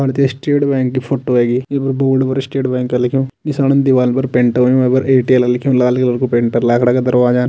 भारतीया state bank की photo वेगि ईं पर बोर्ड पर स्टेट बैंक लिख्युं नीसाण दीवाल पर पेंट होयुं वे पर एयरटेल लिख्युं लाल कलर कु पेंट लाखड़ा का दरवाजान।